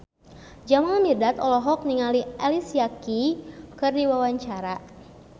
Jamal Mirdad olohok ningali Alicia Keys keur diwawancara